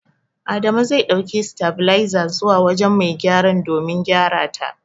Adamu zai ɗauki sitabiliza zuwa wujen mai gyaran domin a gyarata.